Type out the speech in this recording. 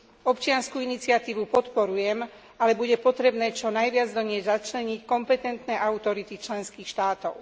Občiansku iniciatívu podporujem, ale bude potrebné čo najviac do nej začleniť kompetentné autority členských štátov.